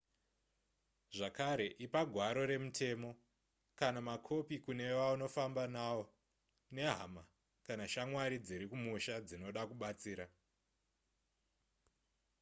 zvakare ipa gwaro remutemo/kana makopi kune vaunofamba navo nehama kana shamwari dziri kumusha dzinoda kubatsira